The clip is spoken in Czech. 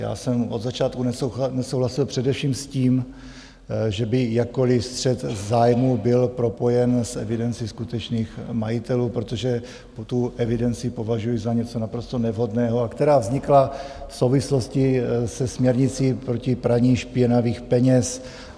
Já jsem od začátku nesouhlasil především s tím, že by jakkoliv střet zájmů byl propojen s evidencí skutečných majitelů, protože tu evidenci považuji za něco naprosto nevhodného, a která vznikla v souvislosti se směrnicí proti praní špinavých peněz.